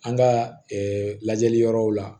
An ka lajɛli yɔrɔw la